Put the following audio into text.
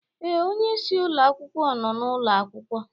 Ee, onye isi ụlọ akwụkwọ nọ n'ụlọ akwụkwọ